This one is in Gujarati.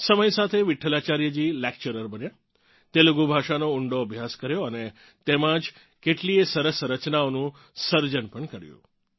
સમય સાથે વિઠ્ઠલાચાર્યજી લેક્ચરર બન્યાં તેલુગુ ભાષાનો ઊંડો અભ્યાસ કર્યો અને તેમાં જ કેટલીય સરસ રચનાઓનું સર્જન પણ કર્યું